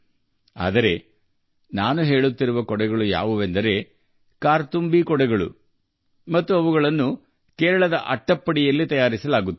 ಆದರೆ ನಾನು ಹೇಳುತ್ತಿರುವ ಛತ್ರಿ 'ಕರ್ತುಂಬಿ ಅಂಬ್ರೆಲಾ' ಮತ್ತು ಇದನ್ನು ಕೇರಳದ ಅಟ್ಟಪ್ಪಾಡಿಯಲ್ಲಿ ತಯಾರಿಸುಲಾಗುತ್ತದೆ